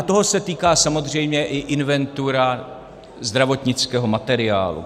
A toho se týká samozřejmě i inventura zdravotnického materiálu.